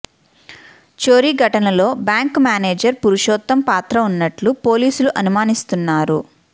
చోరీ ఘటనలో bank manager Purushottam పాత్ర ఉన్నట్లు పోలీసులు అనుమానిస్తున్నారు